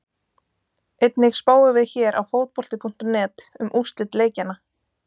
Einnig spáum við hér á Fótbolti.net um úrslit leikjanna.